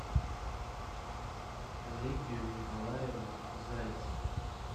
лидию николаевну зайцеву